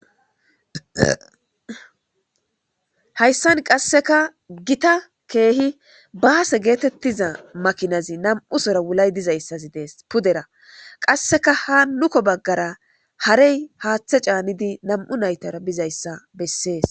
Hayssan qasseka gita keehi baase geetettiza makinazi nam'u sora wulay dizayssazi dees pudera qasseka ha nuko baggara harey haaththe caanidi nam'u naytara bizayssa bessees.